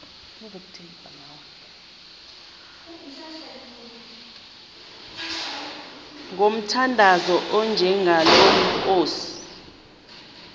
ngomthandazo onjengalo nkosi